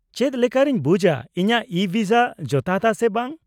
-ᱪᱮᱫ ᱞᱮᱠᱟᱨᱮᱧ ᱵᱩᱡᱟ ᱤᱧᱟᱹᱜ ᱤᱼᱵᱷᱤᱥᱟ ᱡᱚᱛᱷᱟᱛ ᱟ ᱥᱮ ᱵᱟᱝ ?